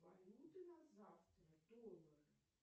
валюты на завтра доллары